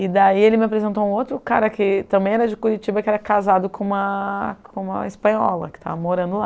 E daí ele me apresentou um outro cara que também era de Curitiba, que era casado com uma com uma espanhola que estava morando lá.